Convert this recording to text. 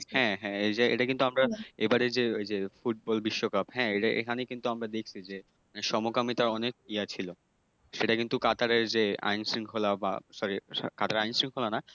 হ্যাঁ, হ্যাঁ এই যে এটা কিন্তু আমরা এবারের যে ওই যে ফুটবল বিশ্বকাপ হ্যাঁ? এটা এখানেই কিন্তু আমরা দেখছি যে সমকামিতা অনেক ইয়ে ছিল, সেটা কিন্তু কাতারের যে আইনশৃঙ্খলা বা sorry কাতারের আইনশৃঙ্খলা না